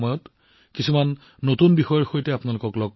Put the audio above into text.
অহাবাৰ কেতবোৰ নতুন বিষয়ৰ সৈতে পুনৰ লগ পাম